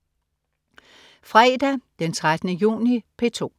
Fredag den 13. juni - P2: